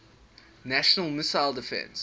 national missile defense